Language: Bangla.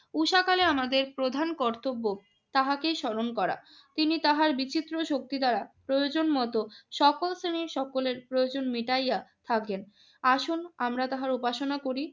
ঊষাকালে আমাদের প্রধান কর্তব্য তাহাকেই স্মরণ করা। তিনি তাহার বিচিত্র শক্তি দ্বারা প্রয়োজনমতো সকল শ্রেণীর সকলের প্রয়োজন মিটাইয়া থাকেন। আসুন আমরা তাহার উপাসনা করি।